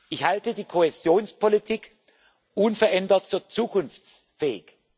Ich halte die Kohäsionspolitik unverändert für zukunftsfähig.